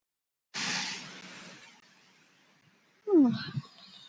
Nei ekkert barn skal trufla mig.